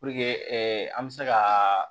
Puruke an bɛ se ka